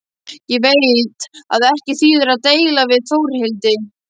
Ég veit að ekki þýðir að deila við Þórhildi.